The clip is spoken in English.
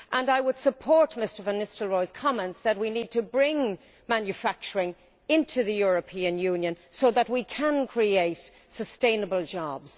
I would support Mr van Nistelrooij's comments that we need to bring manufacturing into the European Union so that we can create sustainable jobs.